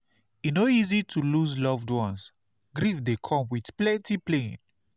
E no easy to lose loved ones; grief dey come with plenty pain.